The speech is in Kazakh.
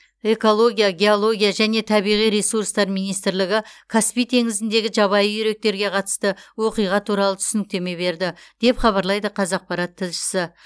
экология геология және табиғи ресурстар министрлігі каспий теңізіндегі жабайы үйректерге қатысты оқиға туралы түсініктеме берді деп хабарлайды қазақпарат тілшісі